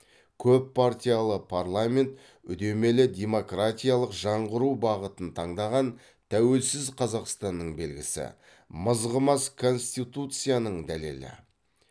көппартиялы парламент үдемелі демократиялық жаңғыру бағытын таңдаған тәуелсіз қазақстанның белгісі мызғымас конституцияның дәлелі